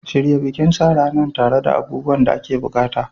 Shirya bikin sa ranar tare da abubuwan da ake buƙata.